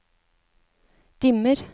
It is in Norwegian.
dimmer